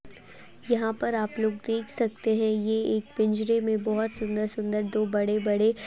यहाँ पर आप लोग देख सकते हैं ये एक पिंजरे में बोहोत सुंदर-सुंदर दो बड़े-बड़े --